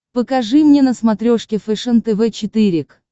покажи мне на смотрешке фэшен тв четыре к